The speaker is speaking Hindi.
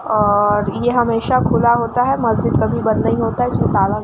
और ये हमेशा खुला होता है। मस्जिद कभी बंद नहीं होता। इसमें ताला --